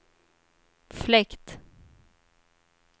fläkt